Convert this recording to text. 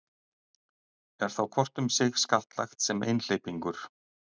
Er þá hvort um sig skattlagt sem einhleypingur.